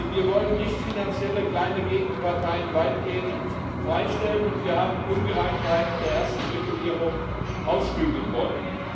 Wir wollen nichtfinanzielle kleine Gegenparteien weitgehend freistellen, und wir haben Ungereimtheiten der ersten Verordnung ausbügeln wollen.